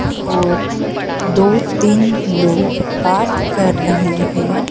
और दो तीन लोग बात कर रहे हैं।